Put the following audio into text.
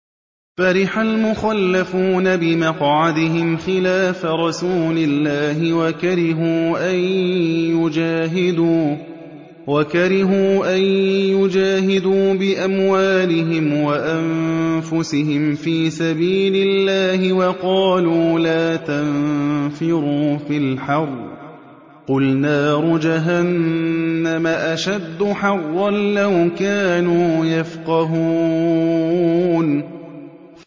فَرِحَ الْمُخَلَّفُونَ بِمَقْعَدِهِمْ خِلَافَ رَسُولِ اللَّهِ وَكَرِهُوا أَن يُجَاهِدُوا بِأَمْوَالِهِمْ وَأَنفُسِهِمْ فِي سَبِيلِ اللَّهِ وَقَالُوا لَا تَنفِرُوا فِي الْحَرِّ ۗ قُلْ نَارُ جَهَنَّمَ أَشَدُّ حَرًّا ۚ لَّوْ كَانُوا يَفْقَهُونَ